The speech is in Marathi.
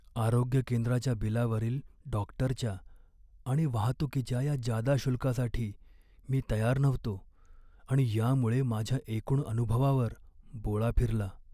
आरोग्य केंद्राच्या बिलावरील डॉक्टरच्या आणि वाहतूकीच्या या जादा शुल्कासाठी मी तयार नव्हतो आणि यामुळे माझ्या एकूण अनुभवावर बोळा फिरला.